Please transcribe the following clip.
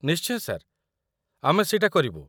ନିଶ୍ଚୟ ସାର୍, ଆମେ ସେଇଟା କରିବୁ ।